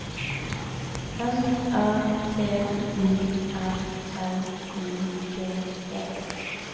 N A T U R L I G E